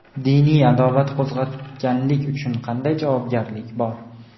Diniy adovat qo‘zg‘atganlik uchun qanday javobgarlik bor?.